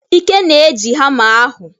Ike na-eji hama ahụ.